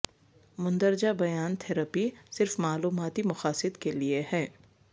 مندرجہ بیان تھراپی صرف معلوماتی مقاصد کے لئے ہے